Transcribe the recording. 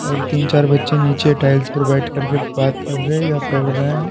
और तीन-चार बच्चे नीचे टाइल्स पर बैठ कर के बात कर रहे हैं या पढ़ रहे हैं।